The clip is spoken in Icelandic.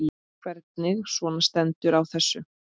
Hvernig svona stendur á þessu?